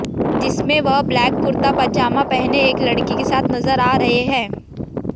जिसमें वह ब्लैक कुर्ता पजामा पहने एक लड़की के साथ नजर आ रहे हैं